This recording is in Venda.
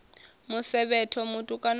musevhetho mutukana u a ya